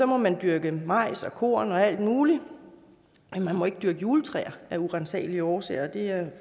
må man dyrke majs og korn og alt muligt men man må ikke dyrke juletræer af uransagelige årsager og det er